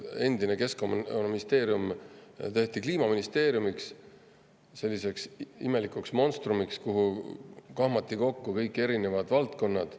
Endine Keskkonnaministeerium tehti Kliimaministeeriumiks, selliseks imelikuks monstrumiks, kuhu kahmati kokku kõik erinevad valdkonnad.